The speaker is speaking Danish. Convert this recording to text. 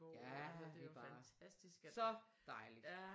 Ja det er bare så dejligt!